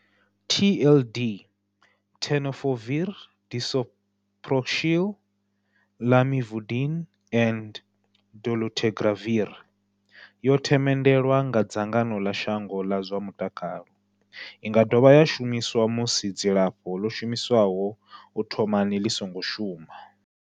TLD, Tenofovir disoproxil, Lamivudine and dolutegravir, yo themendelwa nga dzangano ḽa shango ḽa zwa mutakalo. I nga dovha ya shumiswa musi dzilafho ḽo shumiswaho u thomani ḽi songo shuma.